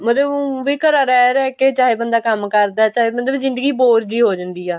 ਮਤਲਬ ਊਂ ਵੀ ਘਰੇ ਰਿਹ ਰਿਹ ਕਿ ਚਾਹੇ ਬੰਦਾ ਕੰਮ ਕਰਦਾ ਚਾਹੇ ਬੰਦੇ ਦੀ ਜਿੰਦਗੀ bore ਜੀ ਹੋ ਜਾਂਦੀ ਆ